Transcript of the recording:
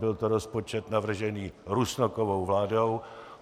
Byl to rozpočet navržený Rusnokovou vládou.